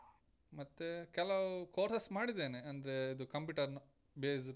ಮತ್ತೆ ಕೆಲವು courses ಮಾಡಿದೇನೆ, ಅಂದ್ರೆ ಅದು computer ನ based .